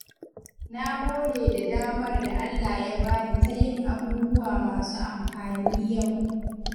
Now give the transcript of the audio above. Na gode da damar da Allah ya bani ta yin abubuwa masu amfani yau.